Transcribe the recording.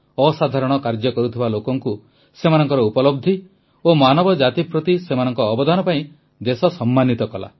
ଅସାଧାରଣ କାର୍ଯ୍ୟ କରୁଥିବା ଲୋକଙ୍କୁ ସେମାନଙ୍କ ଉପଲବ୍ଧି ଓ ମାନବଜାତି ପ୍ରତି ସେମାନଙ୍କ ଅବଦାନ ପାଇଁ ଦେଶ ସମ୍ମାନିତ କଲା